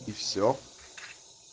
и всё